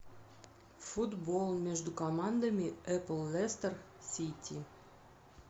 футбол между командами апл лестер сити